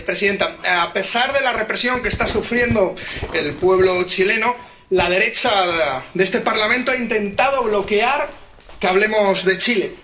Señora presidenta, a pesar de la represión que está sufriendo el pueblo chileno, la derecha de este Parlamento ha intentado bloquear que hablemos de Chile.